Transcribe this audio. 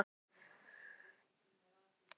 Hver hlutur genginn manni í merg og bein og augastein.